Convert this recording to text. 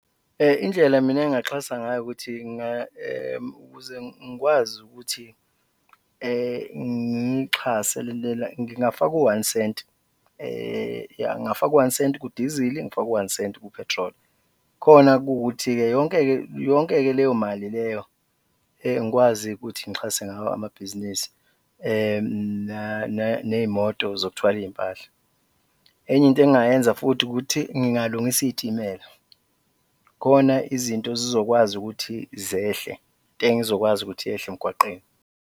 Indlela mina engingaxhasa ngayo ukuthi ukuze ngikwazi ukuthi ngiyixhase ngingafaka u-one cent yah, ngingafaka u-one cent ku-dizili, ngifake u-one cent ku-petrol khona kuwukuthi-ke yonke-ke leyo mali leyo ngikwazi ukuthi ngixhase ngawo amabhizinisi ney'moto zokuthwala iy'mpahla. Enye into engingayenza futhi ukuthi ngingalungisa iy'timela khona izinto zizokwazi ukuthi zehle, itengo izokwazi ukuthi yehle emgwaqeni.